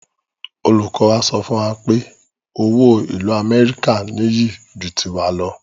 Olùkọ wa sọ fún wa pé owó ìlú amẹ́ríkà ní iyì ju tiwa lọ